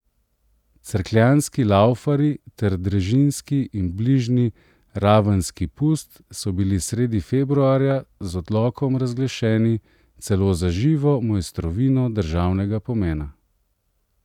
Cerkljanski laufarji ter drežniški in bližnji ravenski pust so bili sredi februarja z odlokom razglašeni celo za živo mojstrovino državnega pomena.